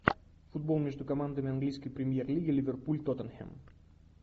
футбол между командами английской премьер лиги ливерпуль тоттенхэм